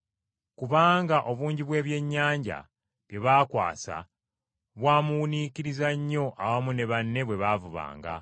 Kubanga obungi bw’ebyennyanja bye baakwasa bwa muwuniikirizza nnyo awamu ne banne bwe baavubanga,